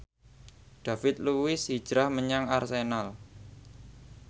David Luiz hijrah menyang Arsenal